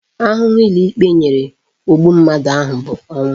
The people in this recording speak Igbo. Ahụhụ ụlọikpe nyere ogbu mmadụ ahụ bụ ọnwụ